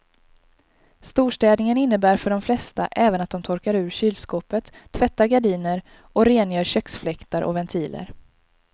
Storstädningen innebär för de flesta även att de torkar ur kylskåpet, tvättar gardiner och rengör köksfläktar och ventiler.